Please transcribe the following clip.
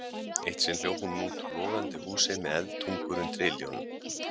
Eitt sinn hljóp hún út úr logandi húsi með eldtungur undir iljunum.